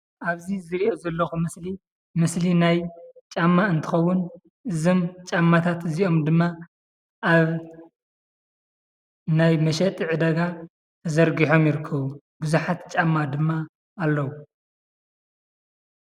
ኣብዚ ዝርእዮ ዘለኩ ምስሊ ምስሊ ናይ ጫማ እንትከውን እዞም ጫማታት እዚኦም ድማ ኣብ ናይ መሸጢ ዕዳጋ ተዘርጊሖም ይርከቡ። ቡዙሓት ጫማ ድማ ኣለው።